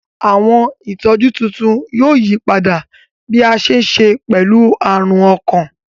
Awọn itọju tuntun yoo yipada bi a ṣe ṣe pẹlu arun ọkan.